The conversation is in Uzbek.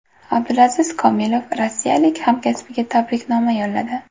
Abdulaziz Komilov rossiyalik hamkasbiga tabriknoma yo‘lladi.